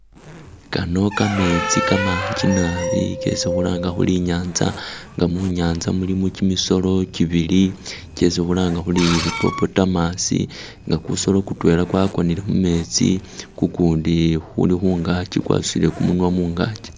Kano kametsi kamanji naabi kesi khulanga khuri i'nyanza nga munyanza mulimo kimisolo kibili kyesi khulanga khuri hippotamus nga kusolo kutwela kwakonele mumetsi kukundi kuli khungaki kwesile kumunwa khungaki